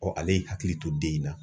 ale y'i hakili to den in na.